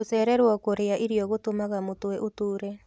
Gucererwo kurĩa irio gũtũmaga mũtwe ũtuure